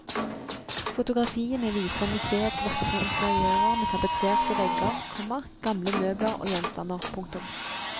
Fotografiene viser museets vakre interiører med tapetserte vegger, komma gamle møbler og gjenstander. punktum